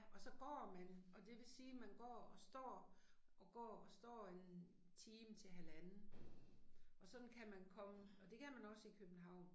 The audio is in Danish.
Og så går man og det vil sige man går og står, og går og står en time til halvanden. Og sådan kan man komme, og det kan man også i København